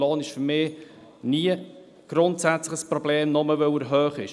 Der Lohn ist für mich nie grundsätzlich ein Problem, nur weil er hoch ist.